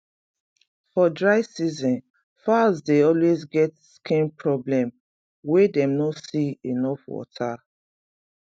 for dry season fowls dey always get skin problem wen dem no see enough water